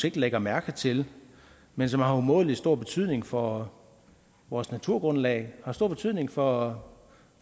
ikke lægger mærke til men som har umådelig stor betydning for vores naturgrundlag har stor betydning for